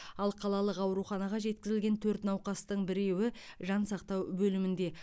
ал қалалық ауруханаға жеткізілген төрт науқастың біреуі жансақтау бөлімінде